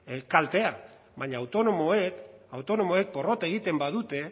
kaltea baina autonomoek autonomoek porrot egiten badute